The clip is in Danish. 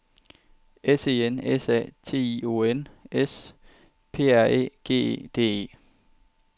S E N S A T I O N S P R Æ G E D E